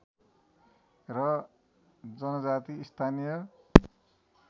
र जनजाति स्थानीय